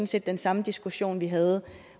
set den samme diskussion vi havde